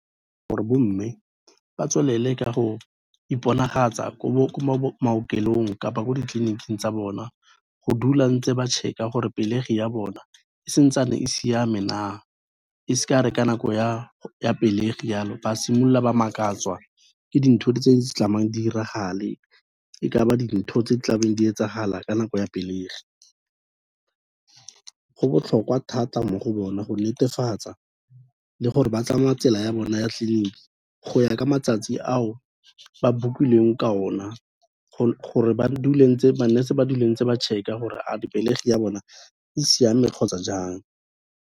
Gore bo mme ba tswelele ka go iponagatsa ko maokelong kapa ko ditleliniking tsa bona go dula ntse ba check-a gore pelegi ya bona e santsane e siame na, e se ka ya re ka nako ya pelegi ya lo, ba simolola ba makatswa ke dintho tse diragale e ka ba dintho tse tlabeng di etsagala ka nako ya pelegi, go botlhokwa thata mo go bona go netefatsa le gore ba tsamaya tsela ya bona ya tleliniki go ya ka matsatsi ao ba bookilweng ka o na, gore ma nurse-e ba dule ntse ba check-a gore a di pelegi ya bona e siame kgotsa jang.